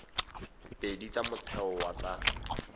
pedi tsa motheo wa tsa